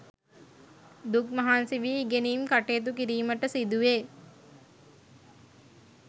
දුක් මහන්සි වී ඉගෙනීම් කටයුතු කිරීමට සිදුවේ.